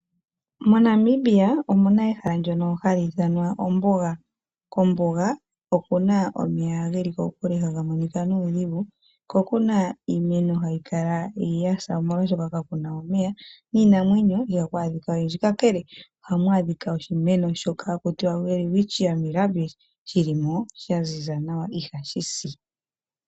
MoNamibia omuna ehala ndyono hali ithanwa ombuga. Kombuga okuna omeya geli kokule haga monika nuudhingu. Ko kuna iimeno hayi kala yasa omolwashoka kakuna omeya. Niinamwenyo ihaku adhika oyindji. Kakele ohaku adhika oshimeno shoka haku tiwa Welwitchia Mirrabills shili mo sha ziza nawa ihashi si.